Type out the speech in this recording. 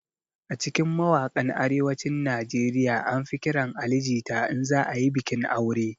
A cikin mawaƙan arewacin nigeria an fi ƙiran Ali jita in za ayi bikin aure